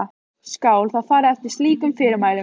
Skal þá farið eftir slíkum fyrirmælum.